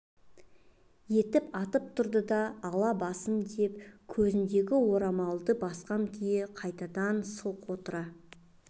етіп атып тұрды да алла басым деп көзіндегі орамалды басқан күйі қайтадан орнына сылқ отыра